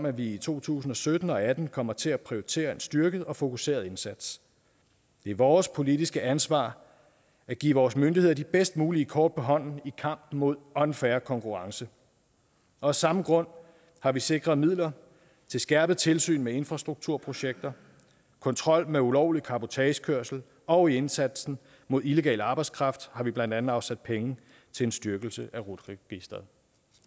at vi i to tusind og sytten og atten kommer til at prioritere en styrket og fokuseret indsats det er vores politiske ansvar at give vores myndigheder de bedst mulige kort på hånden i kampen mod unfair konkurrence og af samme grund har vi sikret midler til skærpet tilsyn med infrastrukturprojekter kontrol med ulovlig cabotagekørsel og i indsatsen mod illegal arbejdskraft har vi blandt andet afsat penge til en styrkelse af rut registeret